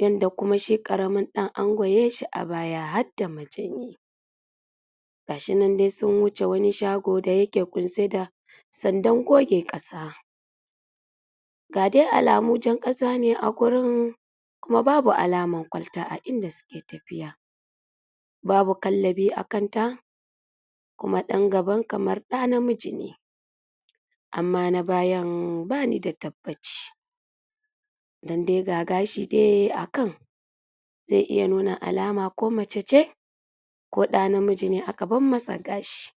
yadda shi karamin ɗan an goye shi a baya har da majanyi ga shi nan dai sun wuce wani shago da yake guntse da sanda goge ƙasa. Ga dai alamun jan ƙasa ne a gurin kuma babu alaman kwalta a inda suke tafiya. Babu kallabi a kanta kuma ɗan gaba kamar ɗa namiji ne, amma na bayan ba ni da tabbaci don dai ga shi dai a kan zai iya nuna alama ko mace ce ko ɗa namiji ne aka bar masa gashi